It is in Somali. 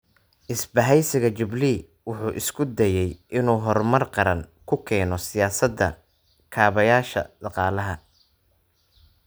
Isbahaysiga Jubilee wuxuu isku dayay inuu horumar qaran ku keeno siyaasadaha kaabayaasha dhaqaalaha.